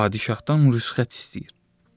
Padişahdan rüsxət istəyir.